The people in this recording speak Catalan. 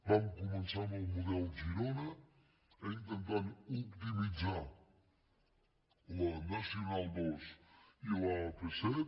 vam començar amb el model girona intentant optimitzar la nacional ii i l’ap set